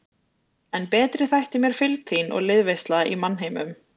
En betri þætti mér fylgd þín og liðveisla í mannheimum.